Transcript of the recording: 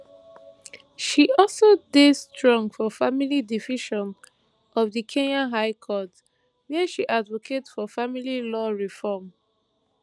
she also dey strong for family division of di kenya high court wia she advocate for family law reform